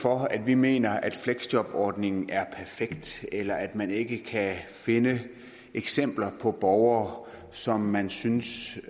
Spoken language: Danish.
for at vi mener at fleksjobordningen er perfekt eller at man ikke kan finde eksempler på borgere som man synes